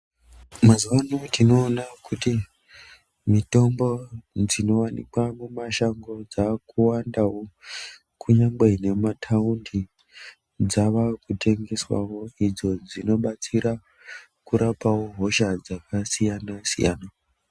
Mazuvano tinoona kuti mitombo dzinowanikwa mumashango dzakuwandawo kunyangwe nemumataundi dzavakutengeswawo idzo dzinobatsira kurapawo hosha dzakasiyana siyana.